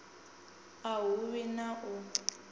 a hu vhi na u